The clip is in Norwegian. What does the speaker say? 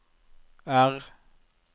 R